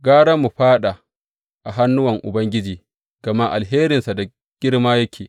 Gara mu fāɗa a hannuwan Ubangiji gama alherinsa da girma yake.